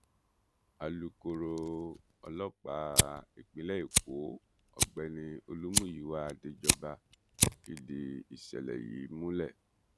alukoro ọlọ́pàá ìpínlẹ̀ èkó ọ̀gbẹ́ni olúmúyíwá adéjọba fìdí ìṣẹ̀lẹ̀ yìí múlẹ̀